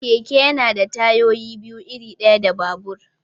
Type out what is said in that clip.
Keke yana da tayoyi biyu, iri ɗaya da babur.